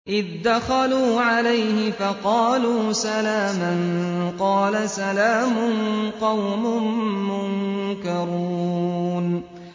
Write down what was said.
إِذْ دَخَلُوا عَلَيْهِ فَقَالُوا سَلَامًا ۖ قَالَ سَلَامٌ قَوْمٌ مُّنكَرُونَ